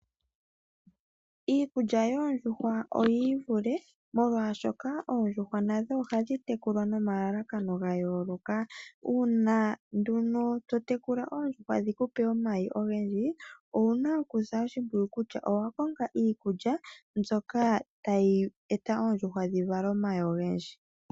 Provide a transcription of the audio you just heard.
Iikulya yoondjuhwa nayo oyi ili le molwashoka oondjuhwa nadho ohadhi tekulwa nomalalakano gayooloka. Uuna nduno to tekula oondjuhwa dhiku pe omayi ogendji owuna okusa oshimpwiyu kutya owakonga iikulya mbyoka tayi eta oondjuhwa dhivale omayi ogendji.